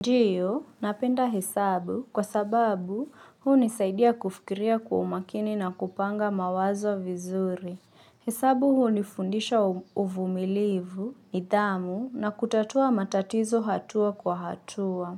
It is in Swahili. Ndiyo, napenda hesabu kwasababu hunisaidia kufikiria kwa umakini na kupanga mawazo vizuri. Hesabu hunifundisha uvumilivu, nidhamu na kutatua matatizo hatua kwa hatua.